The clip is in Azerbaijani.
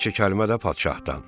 bir neçə kəlmə də padşahdan.